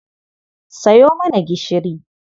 Sayo mana gishiri.